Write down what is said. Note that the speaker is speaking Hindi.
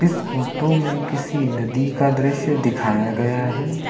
इस फोटो में किसी नदी का दृश्य दिखाया गया है।